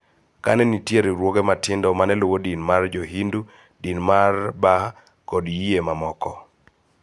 Ka ne nitie riwruoge matindo ma ne luwo din mar Jo-Hindu, din mar Bah��, kod yie mamoko.